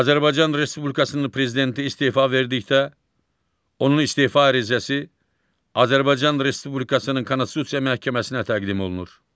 Azərbaycan Respublikasının prezidenti istefa verdikdə onun istefa ərizəsi Azərbaycan Respublikasının Konstitusiya Məhkəməsinə təqdim olunur.